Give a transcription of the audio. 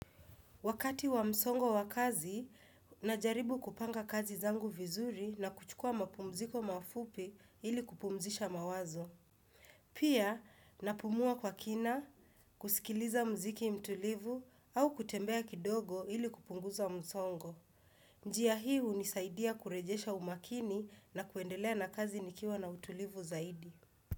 Wakati wa msongo wa kazi najaribu kupanga kazi zangu vizuri na kuchukua mapumziko mafupi ili kupumzisha mawazo pia napumua kwa kina kusikiliza muziki mtulivu au kutembea kidogo ili kupumzika msongo njia hii unisaidia kurejesha umakini na kuendelea na kazi nikiwa na utulivu zaidi.